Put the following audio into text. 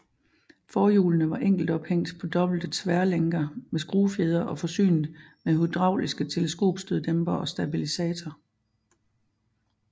Forhjulene var enkelt ophængt på dobbelte tværlænker med skruefjedre og forsynet med hydrauliske teleskopstøddæmpere og stabilisator